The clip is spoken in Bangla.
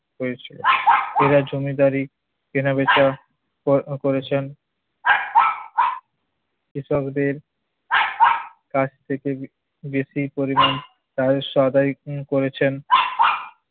হয়েছিল। এরা জমিদারি কেনাবেচা কর~ করেছেন। কৃষকদের কাছ থেকে বেশি পরিমাণ তার সদাই করেছেন।